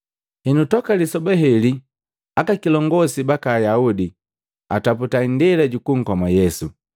Henu toka lisoba heli aka kilongosi baka Ayaudi ataputa indela jukunkoma Yesu.